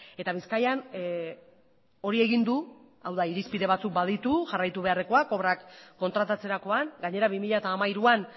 eta bizkaian hori egin du hau da irizpide batzuk ditu jarraitu beharrekoak obrak kontratatzerakoan gainera bi mila hamairuan